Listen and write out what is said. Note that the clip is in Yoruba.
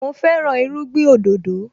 Mo fẹ́ràn irúgbìn òdòdó